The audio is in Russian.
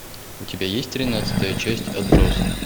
у тебя есть тринадцатая часть отбросы